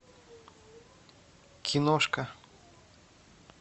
киношка